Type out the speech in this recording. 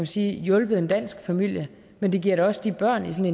sige hjulpet en dansk familie men det giver da også børnene i